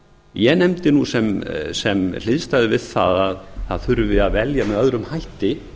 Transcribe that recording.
ég nefndi sem hliðstæðu við að það þurfi að velja með öðrum hætti